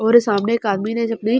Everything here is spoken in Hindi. और सामने एक आदमी ने अपने--